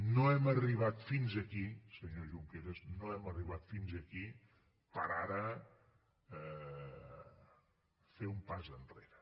no hem arribat fins aquí senyor junqueras no hem arribat fins aquí per ara fer un pas enrere